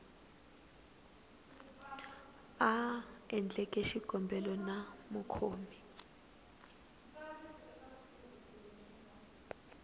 a endleke xikombelo na mukhomi